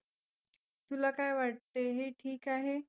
तुला काय वाटतं हे ठिक आहे?